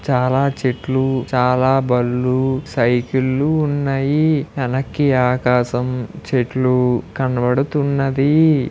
చాలా చెట్లూ చాలా బళ్ళూ సైకిళ్ళు ఉన్నయీ. వెనక్కి ఆకాశం చెట్లూ కనబడుతున్నవీ.